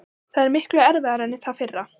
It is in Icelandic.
Það er miklu erfiðara en það fyrra.